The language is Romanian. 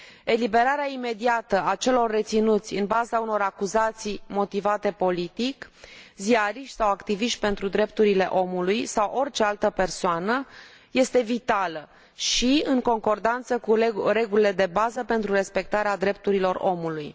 Eliberarea imediată a celor reținuți în baza unor acuzații motivate politic, fie ei ziariști sau activiști pentru drepturile omului sau orice altă persoană, este vitală și în concordanță cu regulile de bază pentru respectarea drepturilor omului.